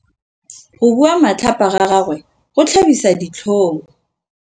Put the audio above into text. Go bua matlhapa ga gagwe go tlhabisa ditlhong.